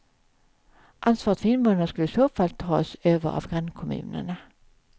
Ansvaret för invånarna skulle i så fall tas över av grannkommunerna.